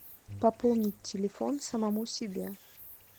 пополнить телефон самому себе